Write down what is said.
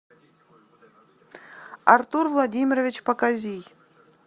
артур владимирович показий